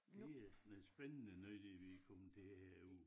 Det er noget spændende noget det vi kommet til herude